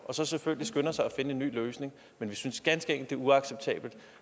og så selvfølgelig skynder sig at finde en ny løsning vi synes ganske enkelt det er uacceptabelt